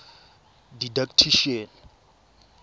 didactician